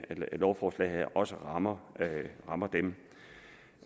lovforslaget her også rammer rammer dem